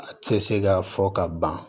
A tɛ se ka fɔ ka ban